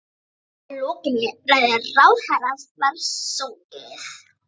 Að lokinni ræðu ráðherrans var sungið